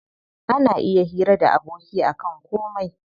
Ana iya hira da aboki akan komai.